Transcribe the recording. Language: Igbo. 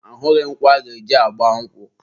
ahụghị nkwụ aga-eji gba nkwụ.